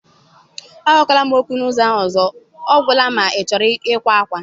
Agwakwala m okwu n'ụzọ ahụ ọzọ, ọ gwụla ma ịchọrọ ịkwa ákwá.